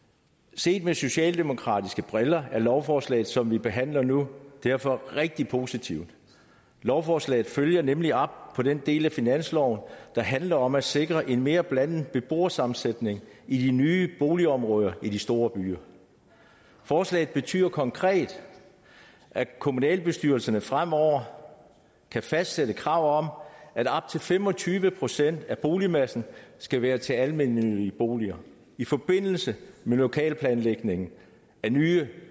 set med socialdemokratiske briller er lovforslaget som vi behandler nu derfor rigtig positivt lovforslaget følger nemlig op på den del af finansloven der handler om at sikre en mere blandet beboersammensætning i de nye boligområder i de store byer forslaget betyder konkret at kommunalbestyrelserne fremover kan fastsætte krav om at op til fem og tyve procent af boligmassen skal være til almennyttige boliger i forbindelse med lokalplanlægningen af nye